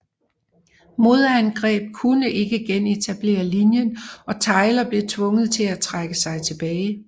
Modangreb kunne ikke genetablere linjen og Tyler blev tvunget til at trække sig tilbage